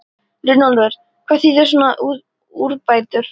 Runólfur, hvað þýða svona úrbætur?